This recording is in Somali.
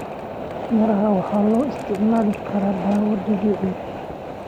Miraha waxaa loo isticmaali karaa dawo dabiici ah.